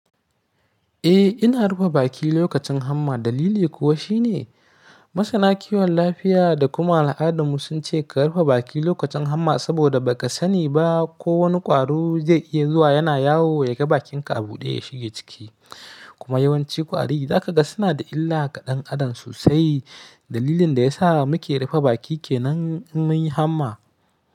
Eh ina rufe baki lokacin hamma dalili kuwa shine, masana kiwon lafiya da kuma al'adun mu sun ce ka rufe baki lokacin hamma saboda ba ka sani ba ko wani ƙwaro zai iya zuwa yana yawo ya ga bakinka a buɗe ya shiga ciki. Kuma yawanci ƙwari zaka ga suna da illa ga dan Adam sosai. Dalilin da ya sa muke rufe baki kenan in mun yi hamma.